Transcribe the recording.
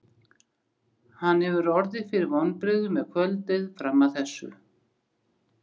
Hann hefur orðið fyrir vonbrigðum með kvöldið fram að þessu.